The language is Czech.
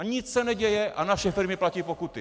A nic se neděje a naše firmy platí pokuty.